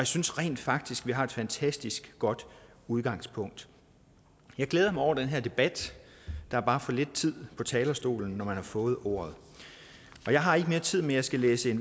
synes rent faktisk at vi har et fantastisk godt udgangspunkt jeg glæder mig over den her debat der er bare for lidt tid på talerstolen når man har fået ordet jeg har ikke mere tid men jeg skal læse